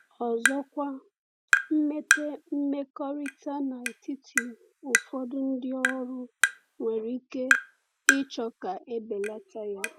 Ọ̀zọ̀kwa, mmepe mmekọrịta n'etiti ụfọdụ ndị ọrụ nwere ike ịchọ ka e belata ya.